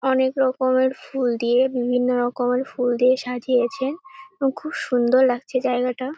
অনেক রকমের ফুল দিয়ে বিভিন্ন রকমের ফুল দিয়ে সাজিয়েছে এবং খুব সুন্দর লাগছে জায়গাটা ।